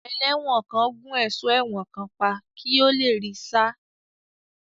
Ẹlẹ́wọ̀n kan gún ẹ̀sọ́ ẹ̀wọ̀n kan pa kí ó le rí í sá.